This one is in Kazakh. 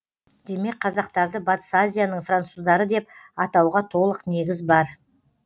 демек қазақтарды батыс азияның француздары деп атауға толық негіз бар